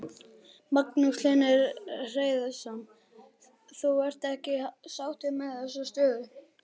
Magnús Hlynur Hreiðarsson: Þú ert ekki sáttur við þessa stöðu?